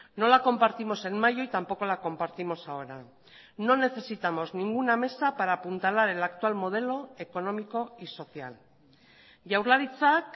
no la compartimos en mayo y tampoco la compartimos ahora no necesitamos ninguna mesa para apuntalar el actual modelo económico y social jaurlaritzak